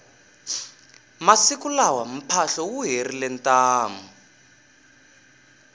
masiku lawa mphahlo wu herile ntamu